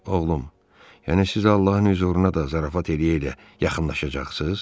Oğlum, yəni siz Allahın hüzuruna da zarafat eləyə-eləyə yaxınlaşacaqsınız?